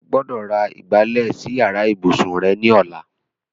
O gbọ́dọ̀ ra ìgbálẹ̀ sí yàrá ìbùsùn rẹ ní ọ̀la.